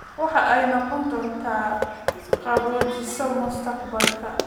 Waxa ay noqon doontaa qaboojiso mustaqbalka